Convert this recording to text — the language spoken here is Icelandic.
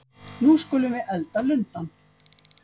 Nú skulum við elda lundann!